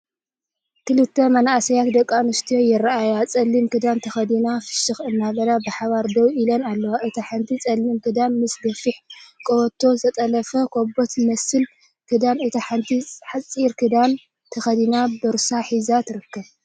ክልተ መንእሰያት ደቂ ኣንስትዮ ይረኣያ፤ ጸሊም ክዳን ተኸዲነን ፍሽኽ እናበላ ብሓባር ደው ኢለን ኣለዋ። እቲ ሓንቲ ጸሊም ክዳን ምስ ገፊሕ ቀበቶን ዝተጠልፈ ካቦት ዝመስል ክዳንን ፡ እታ ሓንቲ ሓጺር ክዳን ተኸዲና ቦርሳ ሒዛ ትርከብ።